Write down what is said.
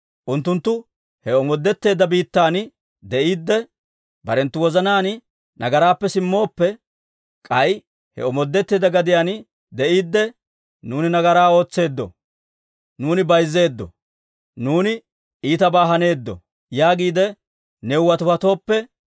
unttunttu he omoodetteedda biittan de'iidde, barenttu wozanaan nagaraappe simmooppe, k'ay he omoodetteedda gadiyaan de'iidde, ‹Nuuni nagaraa ootseedda; nuuni bayzzeeddo; nuuni iitabaa haneeddo› yaagiide new watiwatooppe,